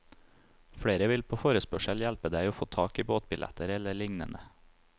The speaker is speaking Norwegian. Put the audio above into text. Flere vil på forespørsel hjelpe deg å få tak i båtbilletter eller lignende.